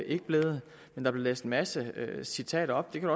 ikke blevet men der blev læst en masse citater op det kan